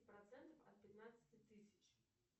процент от пятнадцати тысяч